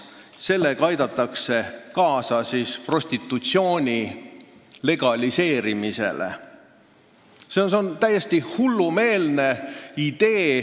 Sellega aidatakse kaasa prostitutsiooni legaliseerimisele.